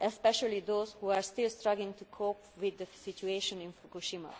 especially those who are still struggling to cope with the situation in Fukushima.